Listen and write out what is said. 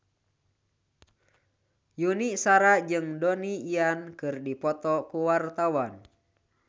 Yuni Shara jeung Donnie Yan keur dipoto ku wartawan